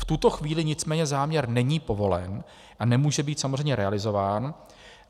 V tuto chvíli nicméně záměr není povolen a nemůže být samozřejmě realizován.